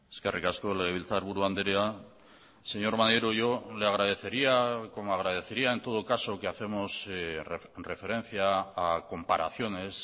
eskerrik asko legebiltzarburu andrea señor maneiro yo le agradecería como agradecería en todo caso que hacemos referencia a comparaciones